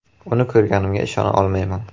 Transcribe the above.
Uni ko‘rganimga ishona olmayman.